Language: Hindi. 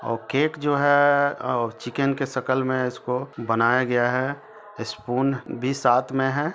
औ-केक जो है आ-चिकेन के शकल में उसको बनाया गया है स्पून भी साथ में है।